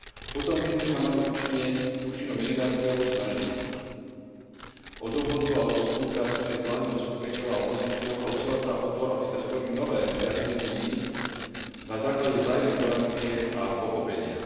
Potom by sme sa mali účinnou mediáciou snažiť o dohodu alebo spoluprácu medzi vládnym zoskupením a opozíciou a usilovať sa o to, aby sa vytvorili nové vzťahy medzi nimi na základe vzájomnej tolerancie a pochopenia.